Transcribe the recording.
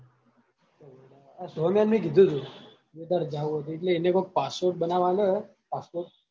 ને કીધું તું તારે જાવું હોય તો એટલે એને કોક passport બનાવા આલ્યો હે passport